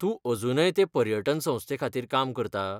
तूं अजूनय ते पर्यटन संस्थेखातीर काम करता?